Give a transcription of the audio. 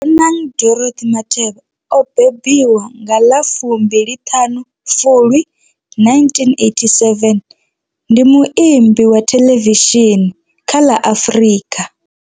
Bonang Dorothy Matheba o bebiwa nga ḽa 25 Fulwi 1987, ndi muambi wa theḽevishini kha ḽa Afrika.